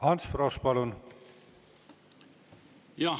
Ants Frosch, palun!